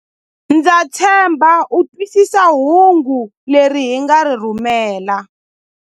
Ndza tshemba u twisisa hungu leri hi nga ri rhumela.